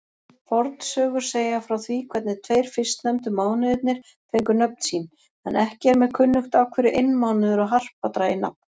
Fornsögur segja frá því hvernig tveir fyrstnefndu mánuðirnir fengu nöfn sín, en ekki er mér kunnugt af hverju einmánuður og harpa dragi nafn.